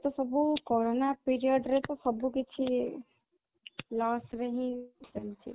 ତ ସବୁ corona period ରେ ତ ସବୁ କିଛି loss ରେ ହିଁ ଚାଲିଛି